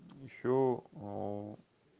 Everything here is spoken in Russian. ещё